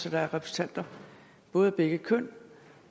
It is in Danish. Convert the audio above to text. at der er repræsentanter både af begge køn